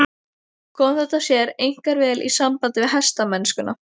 Kom þetta sér einkar vel í sambandi við hestamennskuna.